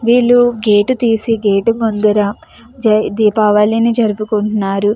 విల్లు gate తెసి gate ముందర దీపావళి జరువుకుంటున్నారు.